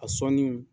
A sɔnni